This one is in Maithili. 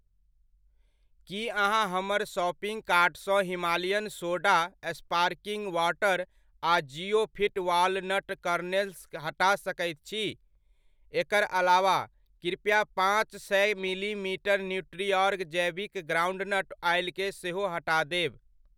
की अहाँ हमर शॉपिङ्ग कार्टसँ हिमालयन सोडा स्पार्कलिंग वॉटर आ ज़िओफिट वॉलनट कर्नेल्स हटा सकैत छी ? एकर अलावा, कृपया पाँच सए मिलीलीटर न्यूट्रीऑर्ग जैविक ग्राउन्डनट ऑइलकेँ सेहो हटा देब।